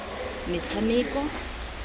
metshameko